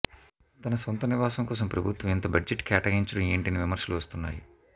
తన సొంత నివాసం కోసం ప్రభుత్వం ఇంత బడ్జెట్ కేటాయించడం ఏంటని విమర్శలు వస్తున్నాయి